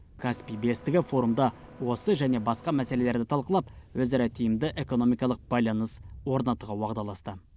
каспий бестігі форумда осы және басқа мәселелерді талқылап өзара тиімді экономикалық байланыс орнатуға уағдаласты